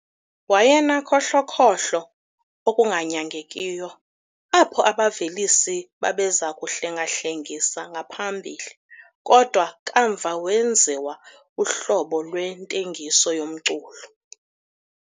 Wayenakhohlokhohlo okunganyangekiyo, apho abavelisi babeza kuhlenga-hlengisa ngaphambili, kodwa kamva wenziwa uhlobo lwentengiso yomculo.